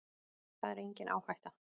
Það er engin áhætta.